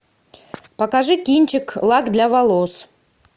покажи кинчик лак для волос